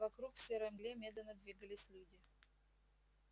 вокруг в серой мгле медленно двигались люди